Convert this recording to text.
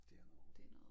Det er noget rod